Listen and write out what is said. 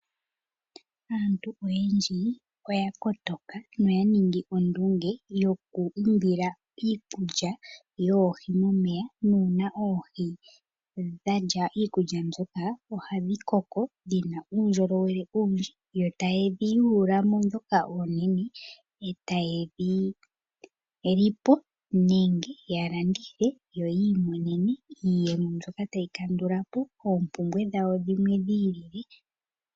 Aantu oyendji oya kotoka noya ningi ondunge yoku imbila iikulya yoohi momeya nuuna oohi dha li iikulya mbyoka ohadhi koko dhi na uundjolowele uwindji, yo taya yulu mo ndhoka oonene e taye dhi li po nenge ya landithe yo yi imonene iiyemo mbyoka tayi kandula po oompumbwe dhawo dhimwe dhi ili.